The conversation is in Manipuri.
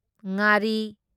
ꯉꯥꯔꯤ